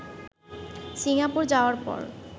Singapore যাওয়ার পর